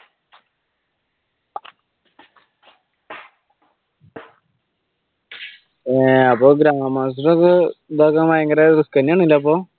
അഹ് grandmaster ഇതാക്കാൻ തന്നെ ഭയങ്കര risk തന്നെയാണല്ലോ അപ്പൊ?